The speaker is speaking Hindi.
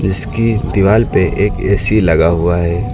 इसकी दीवाल पे एक ए_सी लगा हुआ है।